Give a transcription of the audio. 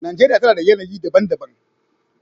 Najeriya tana da yanayi daban-daban.